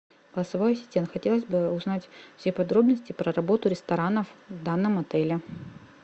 голосовой ассистент хотелось бы узнать все подробности про работу ресторанов в данном отеле